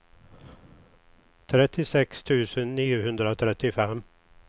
trettiosex tusen niohundratrettiofem